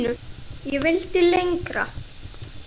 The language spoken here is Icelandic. Ég vildi lengra.